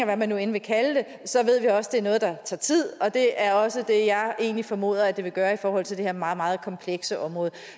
hvad man nu end vil kalde det så ved vi også det er noget der tager tid og det er også det jeg egentlig formoder at det vil gøre i forhold til det her meget meget komplekse område